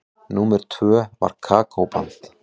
Númer tvö var Kókó-band.